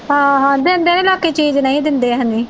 ਹਾਂ ਹਾਂ ਦਿੰਦੇ ਨਹੀਂ ਲੋਕੀ ਚੀਜ਼ ਨਹੀਂ ਦਿੰਦੇ ਹੈਨੀ